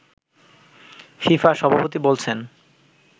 FIFA সভাপতি বলছেন